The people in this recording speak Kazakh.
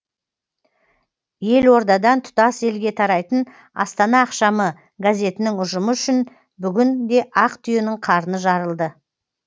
елордадан тұтас елге тарайтын астана ақшамы газетінің ұжымы үшін бүгін де ақ түйенің қарны жарылды